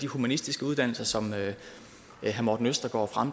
humanistiske uddannelser som herre morten østergaard